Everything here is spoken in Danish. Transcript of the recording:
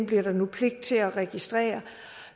bliver der nu pligt til at registrere